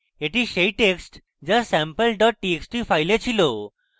এটি সেই text যা আমার কাছে sample dot txt file file